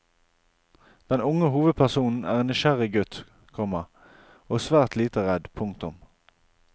Den unge hovedpersonen er en nysgjerrig gutt, komma og svært lite redd. punktum